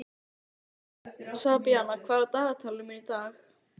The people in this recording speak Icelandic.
Sabína, hvað er á dagatalinu mínu í dag?